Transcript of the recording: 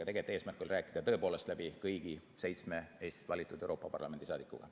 Tegelikult oli eesmärk rääkida tõepoolest läbi kõigi seitsme Eestist valitud Euroopa Parlamendi liikmega.